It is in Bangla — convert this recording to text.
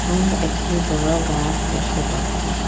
সামনে একটি বড় গাস দ্যাখতে পাচ্ছি।